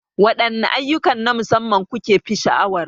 Waɗanne ayyukan na musamman kukefi sha'awar?